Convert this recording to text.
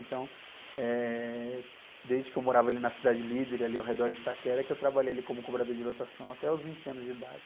Então, eh, desde que eu morava ali na Cidade Líder, ali ao redor de Itaquera, que eu trabalhei ali como cobrador de lotação até os vinte anos de idade.